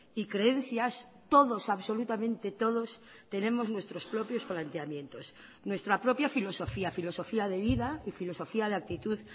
y creencias todos absolutamente todos tenemos nuestros propios planteamientos nuestra propia filosofía filosofía de vida y filosofía de actitud